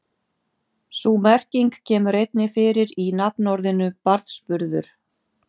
Sú merking kemur einnig fyrir í nafnorðinu barnsburður.